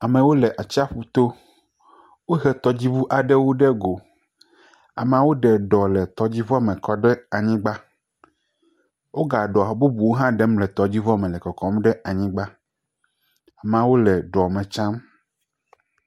Amewo le atsiƒu to, wohe tɔdziŋu aɖewo ɖe go, amawo ɖe ɖɔ le tɔdziŋua me kɔɖe anyigba wogale eɖɔ ɖem le tɔdziŋua me le kɔkɔm ɖe anyigba, ameawo le ɖɔ me tsiam.